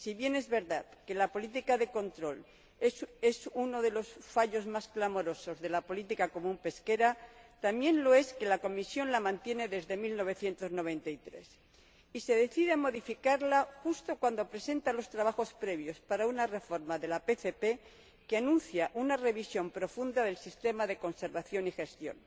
Si bien es verdad que la política de control es uno de los fallos más clamorosos de la Política Pesquera Común, también lo es que la Comisión la mantiene desde 1993, y se decide a modificarla justo cuando presenta los trabajos previos para una reforma de la PCP que anuncia una revisión profunda del sistema de conservación y gestión.